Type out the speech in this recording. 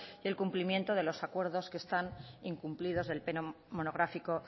y el cumplimiento de los acuerdos que están incumplidos del pleno monográfico